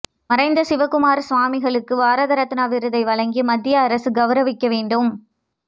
மறைந்த சிவக்குமார சுவாமிகளுக்கு பாரத ரத்னா விருதை வழங்கி மத்திய அரசு கெளரவிக்க வேண்டும்